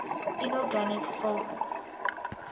inorganic solvents